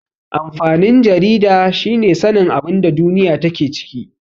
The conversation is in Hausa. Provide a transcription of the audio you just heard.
Amfanin jarida shine sanin abinda duniya take ciki.